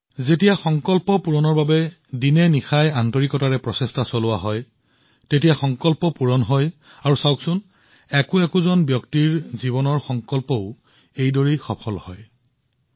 যেতিয়া অহৰ্নিশে সংকল্পৰ বাবে আন্তৰিক প্ৰচেষ্টা কৰা হয় সেই সংকল্পবোৰো প্ৰমাণিত হয় আৰু আপুনি দেখিছে এজন ব্যক্তিৰ জীৱনতো একে ধৰণৰ ঘটনা ঘটে